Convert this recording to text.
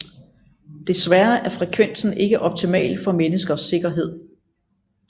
Desværre er frekvensen ikke optimal for menneskers sikkerhed